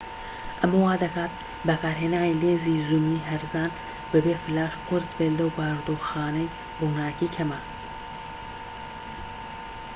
ئەمە وا دەکات بەکارهێنانی لێنزی زوومی هەرزان بە بێ فلاش قورس بێت لەو بارودۆخانەی ڕووناکی کەمە